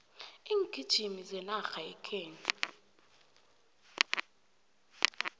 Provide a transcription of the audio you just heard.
iingijimi zenarha yekhethu